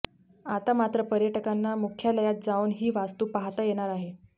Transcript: आता मात्र पर्यटकांना मुख्यालयात जाऊन ही वास्तू पाहता येणार आहे